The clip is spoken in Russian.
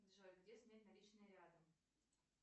джой где снять наличные рядом